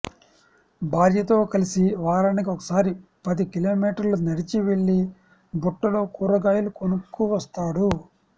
భార్యతో కలిసి వారానికి ఒకసారి పది కిలోమీటర్లు నడిచి వెళ్లి బుట్టలో కూరగాయలు కొనుక్కువస్తాడు